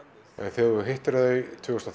þegar þú hittir þau tvö þúsund og